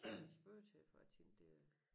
Spørge til for jeg tænkte det